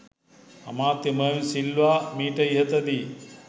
අමාත්‍ය මර්වින් සිල්වා මීට ඉහතදී